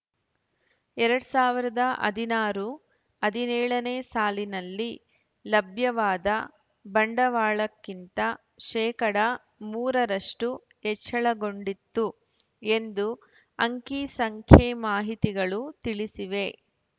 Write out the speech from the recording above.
ಎರಡ್ ಸಾವಿರದ ಹದಿನಾರು ಹದಿನೇಳನೇ ಸಾಲಿನಲ್ಲಿ ಲಭ್ಯವಾದ ಬಂಡವಾಳಕ್ಕಿಂತ ಶೇಕಡಾ ಮೂರ ರಷ್ಟು ಹೆಚ್ಚಳಗೊಂಡಿತ್ತು ಎಂದು ಅಂಕಿಸಂಖ್ಯೆ ಮಾಹಿತಿಗಳು ತಿಳಿಸಿವೆ